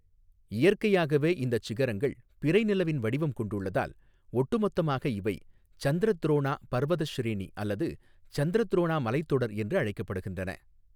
இயற்கையாகவே இந்தச் சிகரங்கள் பிறை நிலவின் வடிவம் கொண்டுள்ளதால், ஒட்டுமொத்தமாக இவை சந்திரத்ரோனா பர்வதஷ்ரேனி அல்லது சந்திரத்ரோனா மலைத்தொடர் என்று அழைக்கப்படுகின்றன.